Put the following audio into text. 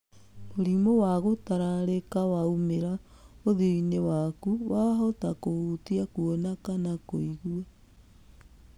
Mũrimũ wa ngũtararĩka waumĩra ũthiũinĩ waku wahota kũhutia kuona kana kũigua.